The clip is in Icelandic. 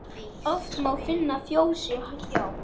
Oft má finna fjósi hjá.